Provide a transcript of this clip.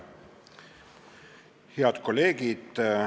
Head kolleegid!